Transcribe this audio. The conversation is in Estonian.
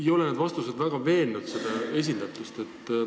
Ei ole need vastused esindatuse kohta väga veenvad.